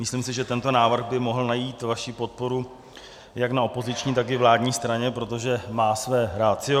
Myslím si, že tento návrh by mohl najít vaši podporu jak na opoziční, tak i vládní straně, protože má své ratio.